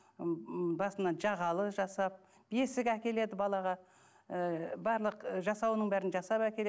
м басына жағалы жасап бесік әкеледі балаға ы барлық жасауының бәрін жасап әкеледі